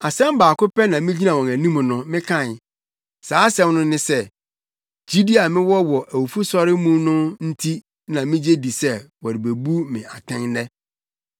Asɛm baako pɛ na migyina wɔn anim no mekae. Saa asɛm no ne sɛ, ‘Gyidi a mewɔ wɔ awufosɔre no mu nti na migye di sɛ morebu me atɛn nnɛ.’ ”